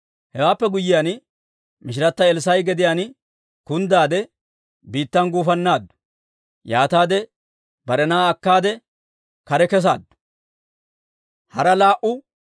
Hewaappe guyyiyaan, mishirata Elssaa'a gediyaan kunddaade, biittan gufannaaddu. Yaataade bare na'aa akkaade kare kesaaddu.